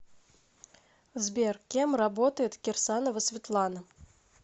сбер кем работает кирсанова светлана